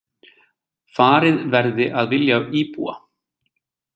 Farið verði að vilja íbúa